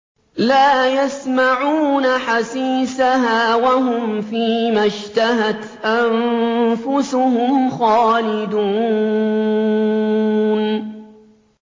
لَا يَسْمَعُونَ حَسِيسَهَا ۖ وَهُمْ فِي مَا اشْتَهَتْ أَنفُسُهُمْ خَالِدُونَ